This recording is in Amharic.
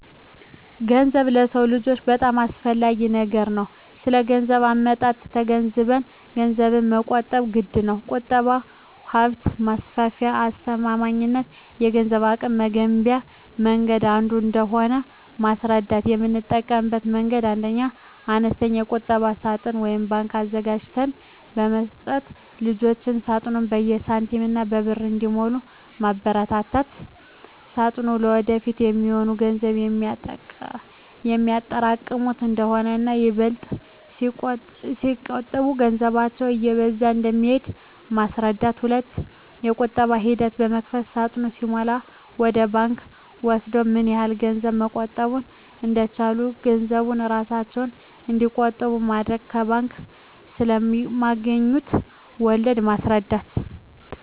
ገንዘብ ለሰው ልጆች በጣም አስፈላጊ ነገር ነው ስለገንዘብ አመጣጡ ተገንዝበንም ገንዘብን መቆጠብ ግድነው። ቁጠባ ሀብት ማፍሪያና አስተማማኝ የገንዘብ አቅም መገንቢያ መንገድ አንዱ እንደሆነ ማስረዳት: የምጠቀምበት መንገድ 1ኛ, አነስተኛ የቁጠባ ሳጥን (ባንክ) አዘጋጅተን በመስጠት ልጆች ሳጥኑን በሳንቲሞችና በብር እንዲሞሉ ማበርታት ሳጥኑ ለወደፊት የሚሆን ገንዘብ የሚያጠራቅሙበት እንደሆነና ይበልጥ ሲቆጥቡ ገንዘባቸው እየበዛ እንደሚሄድ ማስረዳት። 2ኛ, የቁጠባ ሂሳብ በመክፈት ሳጥኑ ሲሞላላቸው ወደ ባንክ ወስደው ምን ያህል ገንዘብ መቆጠብ እንደቻሉ ገንዘቡን እራሳቸው እንዲቆጥሩ ማድረግ። ከባንክ ስለማገኙት ወለድ ማስረዳት።